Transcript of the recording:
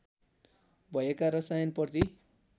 भएका रसायन प्रति